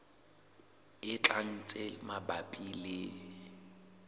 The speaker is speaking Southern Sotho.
e tlang tse mabapi le